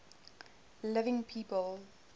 living people